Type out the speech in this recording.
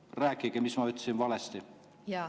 Rääkige, mis ma ütlesin valesti!